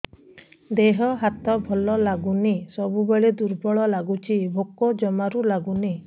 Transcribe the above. ଦେହ ହାତ ଭଲ ଲାଗୁନି ସବୁବେଳେ ଦୁର୍ବଳ ଲାଗୁଛି ଭୋକ ଜମାରୁ ଲାଗୁନି